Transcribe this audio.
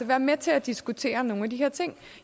være med til at diskutere nogle af de her ting